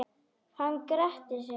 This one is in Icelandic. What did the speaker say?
Hann grettir sig.